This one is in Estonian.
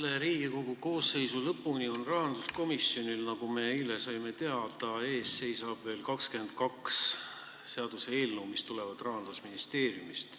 Enne Riigikogu selle koosseisu lõppu seisab rahanduskomisjonil ees, nagu me eile teada saime, veel 22 seaduseelnõu, mis tulevad Rahandusministeeriumist.